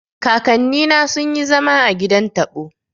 Kakanni na sun yi zama a gidan taɓo